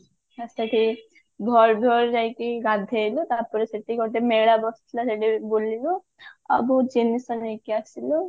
ସେଠି ଭୋରୁ ଭୋରୁ ଯାଇକି ଗାଧେଇଲୁ ତାପରେ ସେଠି ଗୋଟେ ମେଳା ବସିଥିଲା ସେଠି ବୁଲିଲୁ ଆଉ ବହୁତ ଜିନିଷ ନେଇକି ଆସିଲୁ